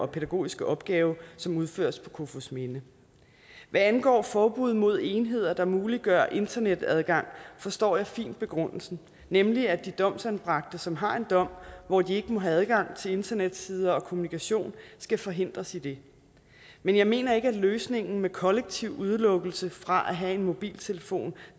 pædagogiske opgave som udføres på kofoedsminde hvad angår forbud mod enheder der muliggør internetadgang forstår jeg fint begrundelsen nemlig at de domsanbragte som har en dom hvor de ikke må have adgang til internetsider og kommunikation skal forhindres i det men jeg mener ikke at løsningen med kollektiv udelukkelse fra at have mobiltelefon